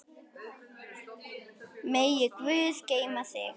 Megi Guð geyma þig.